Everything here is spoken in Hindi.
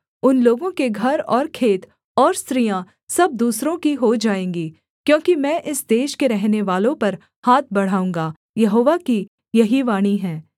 उन लोगों के घर और खेत और स्त्रियाँ सब दूसरों की हो जाएँगीं क्योंकि मैं इस देश के रहनेवालों पर हाथ बढ़ाऊँगा यहोवा की यही वाणी है